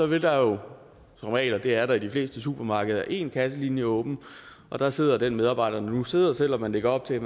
vil der som regel det er der i de fleste supermarkeder være én kasselinje åben og der sidder den medarbejder nu sidder selv om man lægger op til